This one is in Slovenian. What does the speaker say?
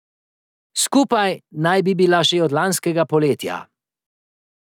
Skupaj naj bi bila že od lanskega poletja.